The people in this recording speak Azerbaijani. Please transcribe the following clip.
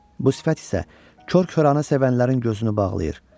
Bu sifət isə kor-kəranı sevənlərin gözünü bağlayır.